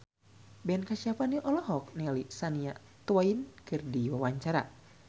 Ben Kasyafani olohok ningali Shania Twain keur diwawancara